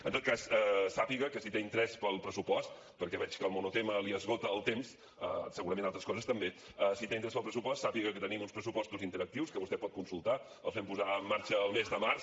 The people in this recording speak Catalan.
en tot cas sàpiga que si té interès pel pressupost perquè veig que el monotema li esgota el temps segurament altres coses també sàpiga que tenim uns pressupostos interactius que vostè pot consultar els vam posar en marxa al mes de març